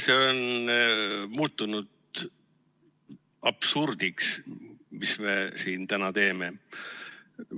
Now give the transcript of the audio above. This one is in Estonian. See on muutunud absurdiks, mis me siin täna teeme.